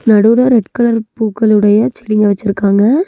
நடுல red colour பூக்கள் உடைய செடிங்க வெச்சிருக்காங்க.